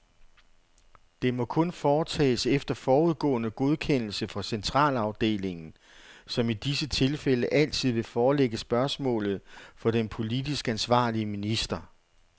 Det må kun foretages efter forudgående godkendelse fra centralafdelingen, som i disse tilfælde altid vil forelægge spørgsmålet for den politisk ansvarlige minister.